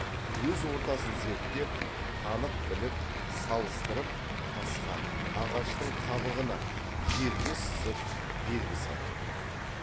өз ортасын зерттеп танып біліп салыстырып тасқа ағаштың қабығына жерге сызып белгі салып отырған